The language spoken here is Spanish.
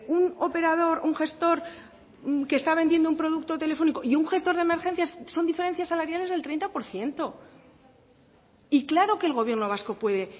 un operador un gestor que está vendiendo un producto telefónico y un gestor de emergencias son diferencias salariales del treinta por ciento y claro que el gobierno vasco puede